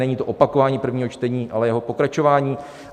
Není to opakování prvního čtení, ale jeho pokračování.